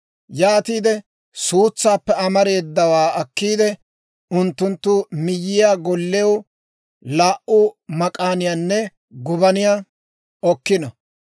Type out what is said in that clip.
Yaatiide suutsaappe amareedawaa akkiide, unttunttu miyaa gollew laa"u mak'aaniyaanne gubaniyaa okkino;